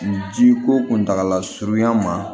Ji ko kuntagala surunyan ma